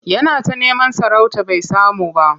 Yana ta neman sarauta bai samu ba.